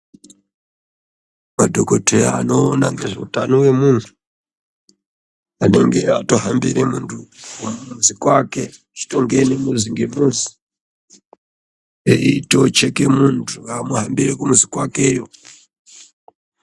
Madhokodheya anoona ngezveutano hwemunhu anenge ato hambire munhu kumuzi kwake achitongene muzi ngemuzi eitocheke munhu waahambire kumuzi kwakeyo.